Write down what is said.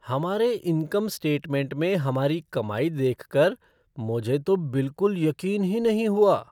हमारे income statement में हमारी कमाई देखकर मुझे तो बिल्कुल यकीन ही नहीं हुआ।